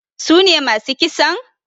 Sune masu kisan?